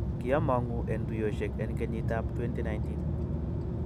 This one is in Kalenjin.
kiamangu en tuiyosiek en kenyiit ap 2019